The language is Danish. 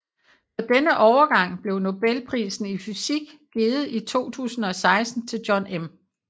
For denne overgang blev Nobelprisen i fysik givet i 2016 til John M